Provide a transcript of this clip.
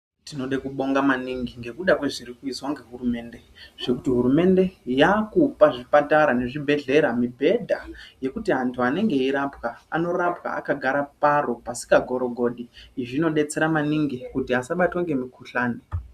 Tinode kubonga maningi ngekuda ngezviri kuizwaa nehurumende , zvekuti hurumende yaakupa zvipatara nezvibhedhlera mibhedha yekuti vantu veirapwaa, anorapwaa akagara paro pasingagorogodi, zvinodetsera maningi kuti asabatwa ngemukuhlani.